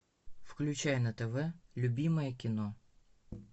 включай на тв любимое кино